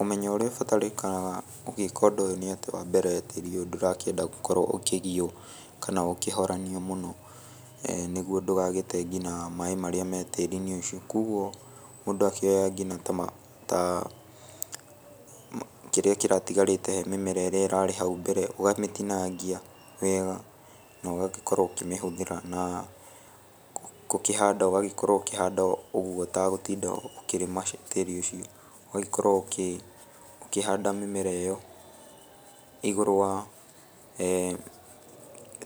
Ũmenyo ũrĩa ũbatarĩkaga ũgĩka ũndũ ũyũ nĩ atĩ wa mbere tĩri ũyũ ndũrakĩenda gũkorwo ũkĩgio kana ũkĩhoranio mũno nĩguo ndũgagĩte nginya maĩ marĩa me tĩri-inĩ ũcio kogũo mũndũ akĩoya nginya ta kĩrĩa kĩratigarĩte he mĩmera ĩrĩa ĩrarĩ hau mbere ũgamĩtinagia wega na ũgagĩkorwo ũkĩmĩhũthĩra na gũkĩhanda ũgagĩkorwo ũkĩhanda ũguo ũtagũtinda ũkĩrĩma tĩri ũcio ũgagĩkorwo ũkĩhanda mĩmera ĩyo igũrũ wa